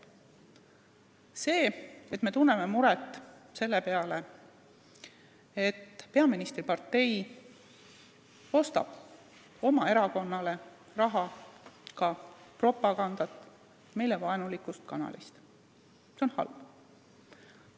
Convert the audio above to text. See, et me tunneme muret selle pärast, et peaministripartei ostab oma erakonna jaoks reklaami ja ka propagandat meile vaenulikult kanalilt, on halb.